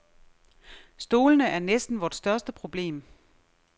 Stolene er næsten vort største problem.